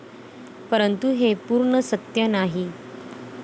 परंतु हे पूर्ण सत्य नाही.